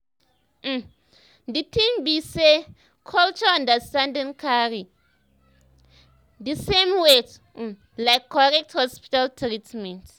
um di thing be saycultural understanding carry the um same weight um like correct hospital treatment